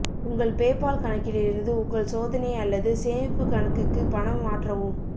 உங்கள் பேபால் கணக்கிலிருந்து உங்கள் சோதனை அல்லது சேமிப்பு கணக்குக்கு பணம் மாற்றவும்